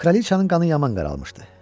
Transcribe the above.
Kraliçanın qanı yaman qaralmışdı.